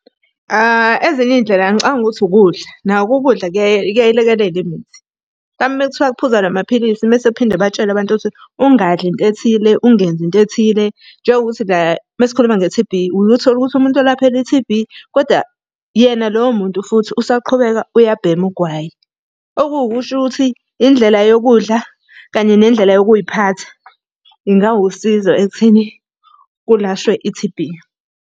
Ezinye iy'ndlela ngicabanga ukuthi ukudla, nako ukudla kuyayilekelela imithi. kwami. Mhlampe uma kuthiwa kuphuzwa namaphilisi mese phinde batshelwe abantu ukuthi, ungadli into ethile, ungenzi into ethile. Njengokuthi la uma sikhuluma nge-T_B uye uthole ukuthi umuntu olaphela i-T_B, kodwa yena loyo muntu futhi usaqhubeka uyabhema ugwayi. Okuwu kusho ukuthi indlela yokudla kanye nendlela yokuy'phatha, ingawusizo ekutheni kulashwe i-T_B.